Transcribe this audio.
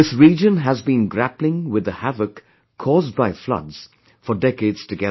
This area has been grappling with the havoc caused by floods for decades together